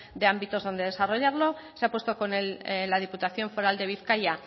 de ámbitos donde desarrollarlo se ha puesto con la diputación foral de bizkaia